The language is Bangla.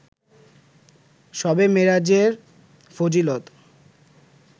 শবে মেরাজের ফজিলত